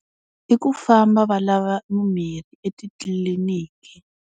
I ku famba va lava mimirhi etitliliniki.